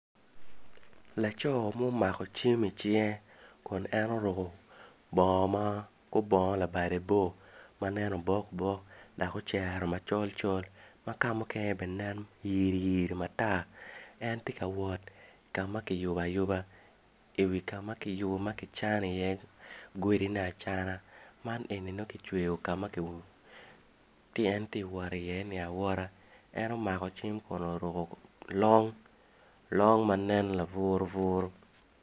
Laco ma omako cim i cinge kun en oruko bongo labade bor ma nen obokbok lake ocero macolcol ma ka mukene bene nen yiriyiri matar en tye ka wot ka ma kiyubo ayuba ka ma kicano godine acana man eni nongo ka ma kicweyo ka ma en omako cim kun oruko long ma nen laburu buru.